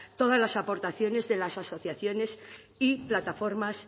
todas las aportaciones de las asociaciones y plataformas